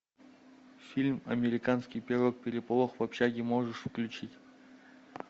фильм американский пирог переполох в общаге можешь включить